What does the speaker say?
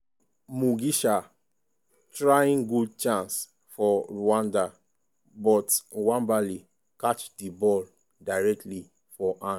mugisha trying good chance for rwanda but nwabali catch di ball directly for hand.